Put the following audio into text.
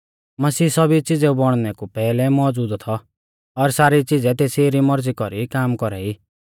मसीह सौभी च़िज़ेऊ बौणनै कु पैहलै मौज़ूद थौ और सारी च़िज़ै तेसी री मौरज़ी कौरी काम कौरा ई